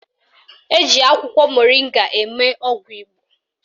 Eji akwụkwọ moringa eme ọgwụ Igbo